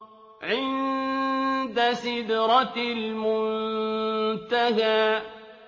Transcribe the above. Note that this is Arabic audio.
عِندَ سِدْرَةِ الْمُنتَهَىٰ